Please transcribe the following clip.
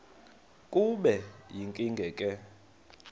kube yinkinge ke